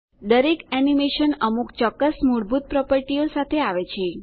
દરેક એનીમેશન અમુક ચોક્કસ મૂળભૂત પ્રોપર્ટીઓ સાથે આવે છે